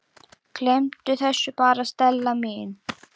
Gleymdu þessu bara, Stella mín.